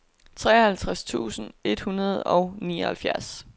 treoghalvtreds tusind et hundrede og nioghalvfjerds